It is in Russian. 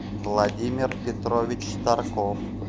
владимир петрович тарков